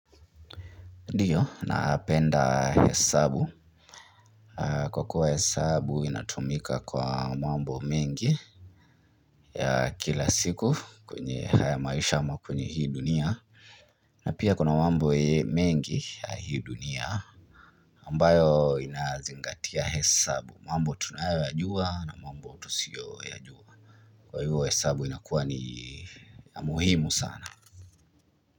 Ndiyo, napenda hesabu. Kwa kuwa hesabu inatumika kwa mambo mengi, ya kila siku kwenye haya maisha ama kwenye hii dunia. Na pia kuna mambo mengi ya hii dunia ambayo inazingatia hesabu. Mambo tunayoyajua na mambo tusiyo yajua. Kwa hivyo hesabu inakuwa ni muhimu sana.